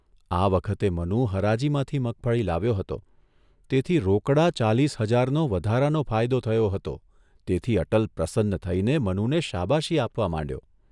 આ વખતે મનુ હરાજીમાંથી મગફળી લાવ્યો હતો તેથી રોકડા ચાલીસ હજારનો વધારાનો ફાયદો થયો હતો તેથી અટલ પ્રસન્ન થઇને મનુને શાબાશી આપવા માંડ્યો.